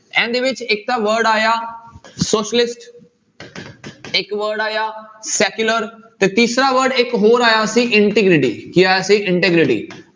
ਇਹਦੇ ਵਿੱਚ ਇੱਕ ਤਾਂ word ਆਇਆ socialist ਇੱਕ word ਆਇਆ secular ਤੇ ਤੀਸਰਾ word ਇੱਕ ਹੋਰ ਆਇਆ ਸੀ integrity ਕੀ ਆਇਆ ਸੀ integrity